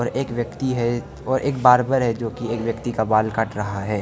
एक व्यक्ति है और एक बार्बर पर है जो की एक व्यक्ति का बाल काट रहा है।